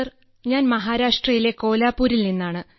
sir ഞാൻ മഹാരാഷ്ട്രയിലെ കോലാപ്പൂരിൽ നിന്നാണ്